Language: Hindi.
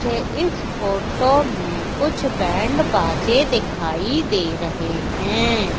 मुझे इस फोटो में कुछ बैंड बाजे दिखाई दे रहे हैं।